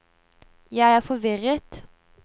jeg er forvirret